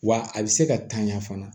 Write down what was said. Wa a bɛ se ka tanya fana